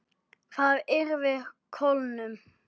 Það yrði kólnun.